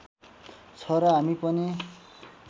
छ र हामी पनि